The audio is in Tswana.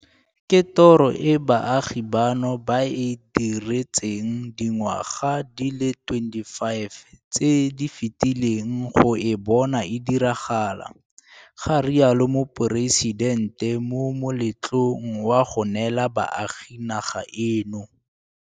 Ke toro e baagi bano ba e diretseng dingwaga di le 25 tse di fetileng go e bona e diragala, ga rialo Moporesitente mo moletlong wa go neela baagi naga eno.